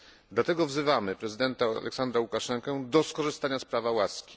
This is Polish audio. Dlatego wzywamy prezydenta Aleksandra Łukaszenkę do skorzystania z prawa łaski.